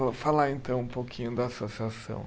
Vou falar então um pouquinho da associação.